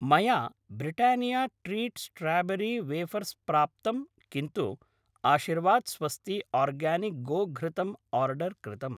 मया Britannia treat strawberry wafers प्राप्तं किन्तु आशिर्वाद् स्वस्ती आर्गानिक् गोघृतम् आर्डर् कृतम्।